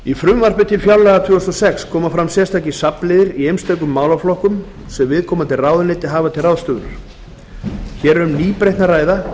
í frumvarpi til fjárlaga tvö þúsund og sex koma fram sérstakir safnliðir í einstökum málaflokkum sem viðkomandi ráðuneyti hafa til ráðstöfunar hér er um nýbreytni að ræða sem